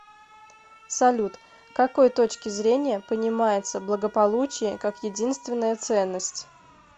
салют к какой точки зрения понимается благополучие как единственная ценность